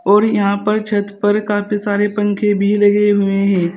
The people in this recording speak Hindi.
और यहां पर छत पर काफी सारे पंखे भी लगे हुए हैं।